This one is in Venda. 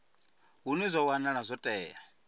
hune zwa wanala zwo tea